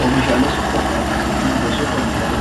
Oomishaalee suupermaarkeetii jechuun gosoota oomishaalee